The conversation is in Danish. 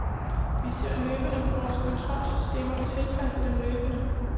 Vi ser løbende på vores kontrolsystemer og tilpasser dem løbende.